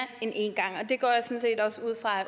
end én gang